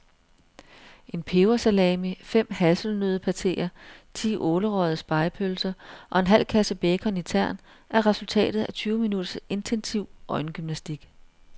En pebersalami, fem hasselnøddepateer, ti ålerøgede spegepølser og en halv kasse bacon i tern er resultatet af tyve minutters intensiv øjengymnastik.